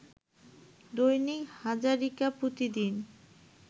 দৈনিক হাজারিকা প্রতিদিন